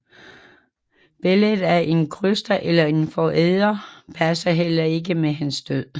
Billedet af en kryster eller forræder passer heller ikke med hans død